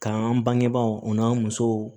K'an bangebaaw o n'an musow